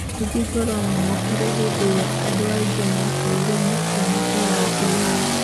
Rũthingo rwamomokire hindi ĩrĩa andũaingĩ makorirwo makĩuma kĩharo ihenya.